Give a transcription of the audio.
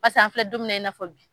an filɛ don min na i n'a fɔ bi.